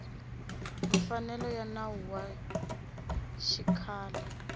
mfanelo ya nawu wa xikhale